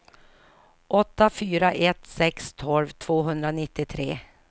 åtta fyra ett sex tolv tvåhundranittiotre